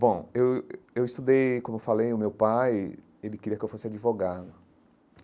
Bom, eu eh eu estudei, como eu falei, o meu pai, ele queria que eu fosse advogado.